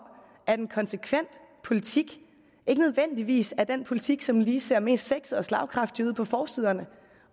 at en konsekvent politik ikke nødvendigvis er den politik som lige ser mest sexet og slagkraftig ud på forsiderne